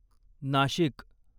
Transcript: Nashik